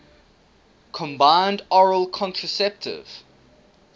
combined oral contraceptive